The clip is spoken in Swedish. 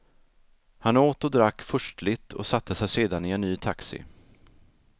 Han åt och drack furstligt och satte sig sedan i en ny taxi.